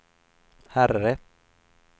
herre